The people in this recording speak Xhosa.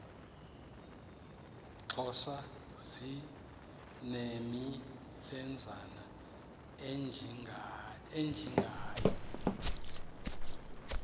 xhosa zinemilenzana ejingayo